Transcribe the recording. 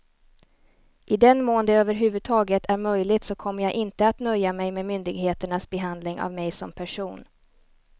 I den mån det över huvud taget är möjligt så kommer jag inte att nöja mig med myndigheternas behandling av mig som person.